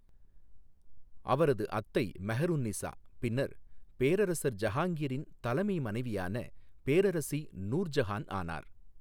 அவரது அத்தை மெஹர் உன் நிசா பின்னர் பேரரசர் ஜஹாங்கிரின் தலைமை மனைவியான பேரரசி நூர் ஜஹான் ஆனார்.